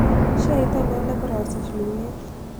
Sheait ainon negorasich luulet